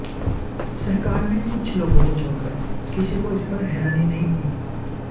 सरकार में कुछ लोगों को छोड़कर किसी को इस पर हैरानी नहीं हुई